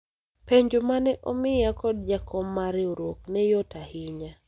penjo mane omiya kod jakom mar riwruok ne yot ahinya